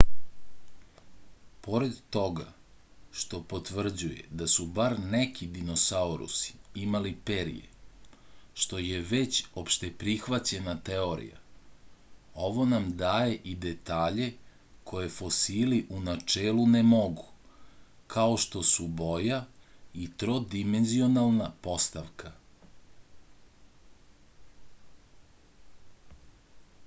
pored toga što potvrđuje da su bar neki dinosaurusi imali perje što je već opšteprihvaćena teorija ovo nam daje i detalje koje fosili u načelu ne mogu kao što su boja i trodimenzionalna postavka